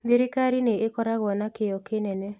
Thirikarĩ nĩ ĩkoragwo na kĩyo kĩnene